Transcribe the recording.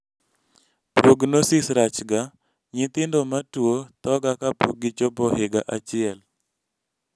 prognosis rachga ,nyithindo matuwo thoga kapok gichopo higa achiel